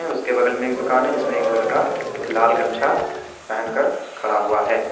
उसके बगल में एक दुकान है जिसमें एक लड़का लाल गमछा पहनकर खड़ा हुआ है।